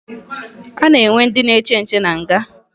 A na-enwe ndị nche na nga